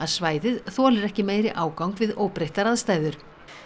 svæðið þolir ekki meiri ágang við óbreyttar aðstæður